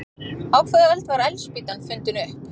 Á hvaða öld var eldspýtan fundin upp?